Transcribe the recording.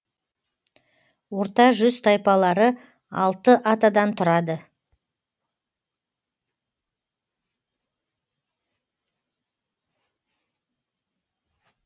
орта жүз тайпалары алты атадан тұрады